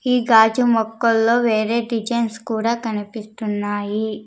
ఈ గాజు మొక్కల్లో వేరే డిజైన్స్ కూడా కనిపిస్తున్నాయి.